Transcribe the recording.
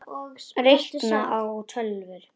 Reikna- læra á tölvur